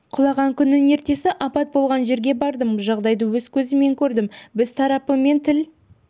құлаған күннің ертесі апат болған жерге бардым жағдайды өз көзіммен көрдім біз тарапымен тіл